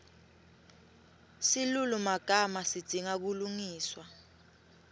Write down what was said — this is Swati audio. silulumagama sidzinga kulungiswa